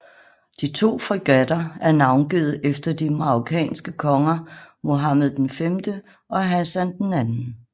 De to fregatter er navngivet efter de marokkanske konger Mohammed V og Hassan II